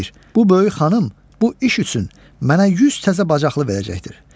Bu böyük xanım bu iş üçün mənə 100 təzə bacıqlı verəcəkdir.